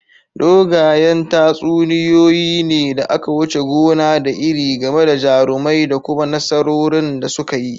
Dogayen tatsuniyoyi ne da aka wuce gona da iri game da jarumai da kuma nasarorin da suka yi.